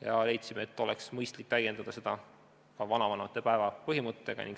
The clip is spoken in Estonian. ja leidsime, et oleks mõistlik täiendada seadust ka vanavanemate päeva põhimõttega.